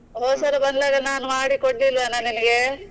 ಹೋದ್ಸಲ ಬಂದಾಗ ನಾನು ಮಾಡಿ ಕೊಡ್ಲಿಲ್ವನ ನಿನಗೆ?